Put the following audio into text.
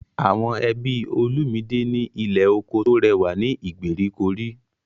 Àwọn ẹbí Olumide ní ilé oko tó rẹwà ní ìgbèríko rí.